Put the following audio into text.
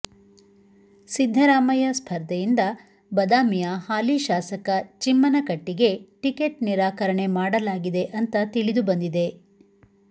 ಸಿದ್ದರಾಮಯ್ಯ ಸ್ಪರ್ಧೆಯಿಂದ ಬದಾಮಿಯ ಹಾಲಿ ಶಾಸಕ ಚಿಮ್ಮನಕಟ್ಟಿಗೆ ಟಿಕೆಟ್ ನಿರಾಕರಣೆ ಮಾಡಲಾಗಿದೆ ಅಂತ ತಿಳಿದು ಬಂದಿದೆ